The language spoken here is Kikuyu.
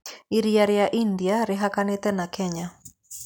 Iria rĩa India rĩhakanĩte na Kenya.